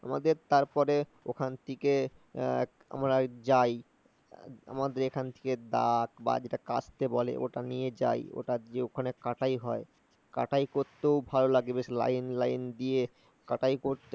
আমাদের তারপরে ওখান থেকে আমরা যাই, আমাদের এখান থেকে দা বা দিয়ে কাটতে বলে, ওটা নিয়ে যাই, ওটা দিয়ে ওখানে কাটাই হয়। কাটাই করতেও ভালো লাগে, বেশ লাইন লাইন দিয়ে।